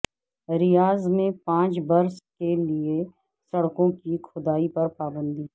ریاض میں پانچ برس کے لیے سڑکوں کی کھدائی پر پابندی